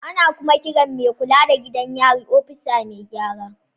Ana kuma kiran mai kula da gidan yari opisa Mai gyara.